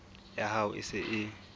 ya hao e se e